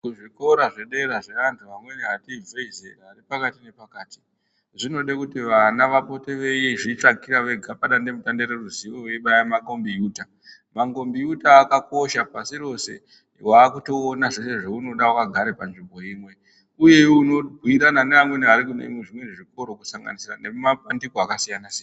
Zvikora zvedera zveantu ati ibvei zera ari pakati nepakati. Zvinode kuti vana vapote veizvitsvakira vega padandemutande reruzivo veibaya makombiyuta. Mangomiyuta akakosha pashi rose vakutoona zveshe zvaunoda vakagara panzvimbo imwe, uye unobhuirana neamweni ari kune zvikoro kusanganisira nemumapandiko akasiyana-siyana.